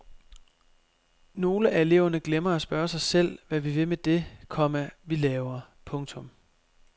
Nogle af eleverne glemmer at spørge sig selv hvad vi vil med det, komma vi laver. punktum